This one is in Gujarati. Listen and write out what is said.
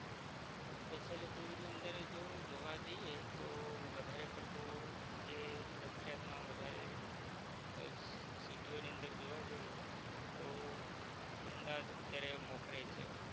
Facility ની અંદર જો જોવા જઇયે તો વધારે પડતો જે પ્રખિયાત મા વધારે અજ city ઓ ની અંદર જોવા જઇયે તો અમદાવાદ અત્યારે મોખરે છે